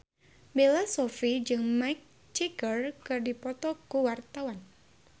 Bella Shofie jeung Mick Jagger keur dipoto ku wartawan